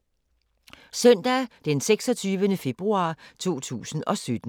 Søndag d. 26. februar 2017